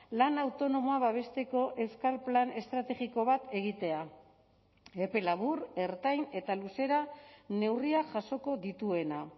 lan autonomoa babesteko euskal plan estrategiko bat egitea epe labur ertain eta luzera neurriak jasoko dituena